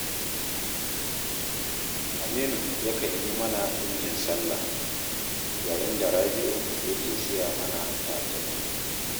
Aminu yakan yi mana ɗinkin sallah, yayin da Rabi'u yake siya mana takalmi